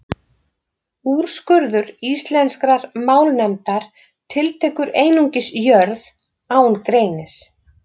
Úrskurður Íslenskrar málnefndar tiltekur einungis Jörð, án greinis.